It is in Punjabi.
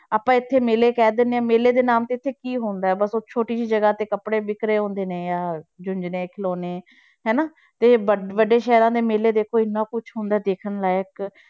ਆਪਾਂ ਇੱਥੇ ਮੇਲੇ ਕਹਿ ਦਿੰਦੇ ਹਾਂ ਮੇਲੇ ਦੇ ਨਾਮ ਤੇ ਇੱਥੇ ਕੀ ਹੁੰਦਾ ਹੈ ਬਸ ਉਹ ਛੋਟੀ ਜਿਹੀ ਜਗ੍ਹਾ ਤੇ ਕੱਪੜੇ ਵਿੱਕ ਰਹੇ ਹੁੰਦੇ ਨੇ ਜਾਂ ਜੂੰਝਣੇ ਖਿਲੋਣੇ ਹਨਾ, ਤੇ ਵ~ ਵੱਡੇ ਸ਼ਹਿਰਾਂ ਦੇ ਮੇਲੇ ਦੇਖੋ ਇੰਨਾ ਕੁਛ ਹੁੰਦਾ ਹੈ ਦੇਖਣ ਲਾਇਕ